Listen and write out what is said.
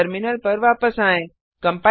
अपने टर्मिनल पर वापस आएँ